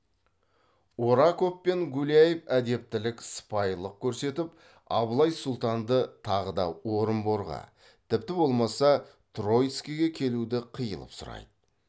ораков пен гуляев әдептілік сыпайылық көрсетіп абылай сұлтанды тағы да орынборға тіпті болмаса троицкиге келуді қиылып сұрайды